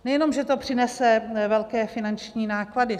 Nejenom že to přinese velké finanční náklady.